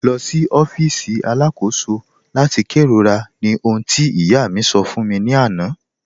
Lọ sí ọfíìsì aláàkọ̀sò láti kẹrọ̀rà, ní òhùn tí ìyá mi sọ̀ fún mi láńà